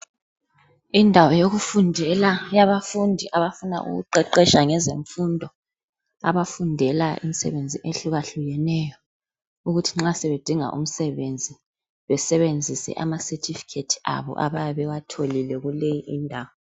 Indawo yokufundela yabafundi abafuna ukuqeqetsha ngezemfundo, abafundela imisebenzi ehlukahlukeneyo ukuthi nxa sebedinga umsebenzi besebenzise amasethifikhethi abo abayabewatholile kuleyo indawo.